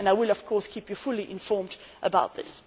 I will, of course, keep you fully informed about this.